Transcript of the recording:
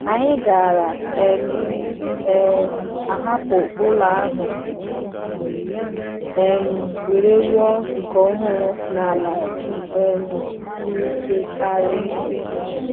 Anyị gaara um um ahapụ ụlọ ahụ um wee rụọ nke ọhụrụ n’ala um siri ike karị.